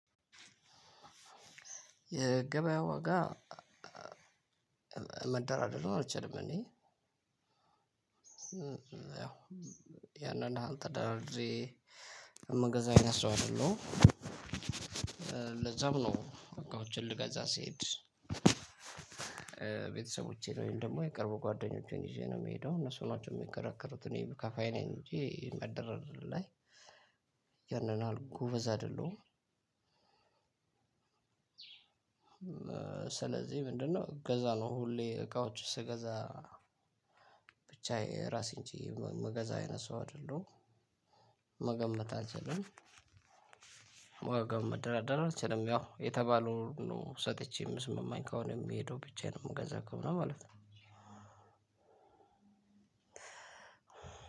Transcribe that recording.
የገበያ ዋጋ መደራደር አልችልም እኔ ያንን ያህል ተደራድሬ ምገዛ አይነት ሰው አይደለሁም። ለዛም ነው እቃዎችን ልገዛ ስሄድ። ቤተሰቦቼን ወይም ደሞ የቅርብ ጓደኞቼን ይዤ ነው ምሄደው እነሱ ሚከራከሩት እኔ ከፋይ ነኝ እንጂ መደራደር ላይ ያንን ያህል ጎበዝ አይደለሁም። ስለዚህ ምንድነው እገዛ ነው ሁሌ እቃዎች ስገዛ ብቻዬ ራሴን ችዬ ምገዛ አይነት ሰው አይደለሁም። መገመት አልችልም ዋጋም መደራደር አልችልም ያው የተባለውን ነው ሰጥቼ ሚስማማኝ ከሆነ ምሄደው ብቻዬን ምገዛ ከሆነ ማለት ነው።